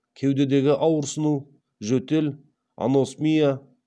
кеудедегі ауырсыну жөтел аносмия